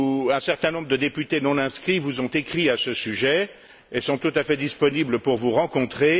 Un certain nombre de députés non inscrits vous ont écrit à ce sujet et sont tout à fait disponibles pour vous rencontrer.